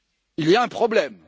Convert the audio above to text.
il y a un problème